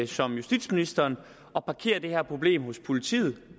som justitsministeren at parkere det her problem hos politiet